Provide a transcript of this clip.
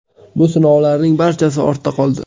Bu sinovlarning barchasi ortda qoldi.